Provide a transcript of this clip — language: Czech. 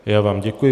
Já vám děkuji.